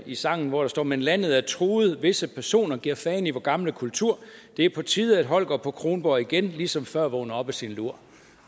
i sangen hvor der står men landet er truet visse personer gir fann i vor gamle kultur det er på tide at holger på kronborg igen li som før vågner op af sin lur